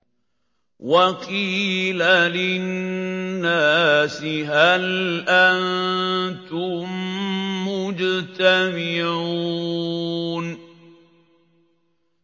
وَقِيلَ لِلنَّاسِ هَلْ أَنتُم مُّجْتَمِعُونَ